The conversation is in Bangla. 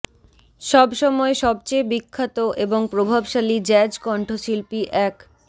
সব সময় সবচেয়ে বিখ্যাত এবং প্রভাবশালী জ্যাজ কণ্ঠশিল্পী এক